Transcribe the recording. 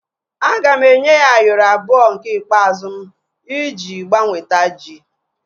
Aga m enye ya Ayoro abụọ nke ikpeazụ m iji gbanweta ji